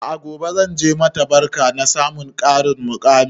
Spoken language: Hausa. A'a gobe zanje mata barka na samun ƙarin muƙami